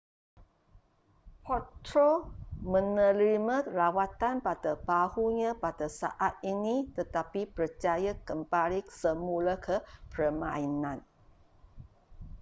potro menerima rawatan pada bahunya pada saat ini tetapi berjaya kembali semula ke permainan